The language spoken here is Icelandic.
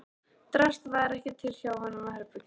Drasl var ekki til hjá honum og Herborgu.